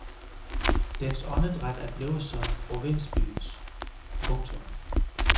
Dens åndedræt er blevet som provinsbyens. punktum